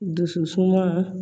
Dusu suma